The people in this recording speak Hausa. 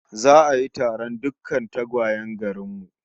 Za'a yi taron dukkan tagwayen garin mu